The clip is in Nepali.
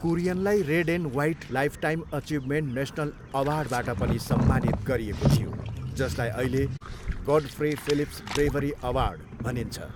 कुरियनलाई red and white lifetime achievement national अवार्डबाट पनि सम्मानित गरिएको थियो जसलाई अहिले गोडफ्रे फिलिप्स ब्रेभरी अवार्ड भनिन्छ।